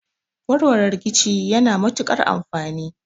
Warware rikici yana matukar amfani